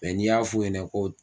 n'i y'a fɔ u ɲɛna ko